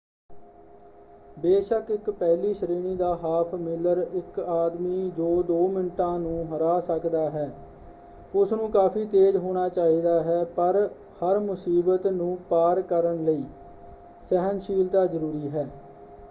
ਬੇਸ਼ੱਕ ਇੱਕ ਪਹਿਲੀ ਸ਼੍ਰੇਣੀ ਦਾ ਹਾਫ਼-ਮੀਲਰ ਇੱਕ ਆਦਮੀ ਜੋ ਦੋ ਮਿੰਟਾਂ ਨੂੰ ਹਰਾ ਸਕਦਾ ਹੈ ਉਸ ਨੂੰ ਕਾਫ਼ੀ ਤੇਜ਼ ਹੋਣਾ ਚਾਹੀਦਾ ਹੈ ਪਰ ਹਰ ਮੁਸੀਬਤ ਨੂੰ ਪਾਰ ਕਰਨ ਲਈ ਸਹਿਣਸ਼ੀਲਤਾ ਜਰੂਰੀ ਹੈ।